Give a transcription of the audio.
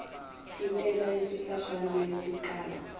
intela yesikhashana yokuqala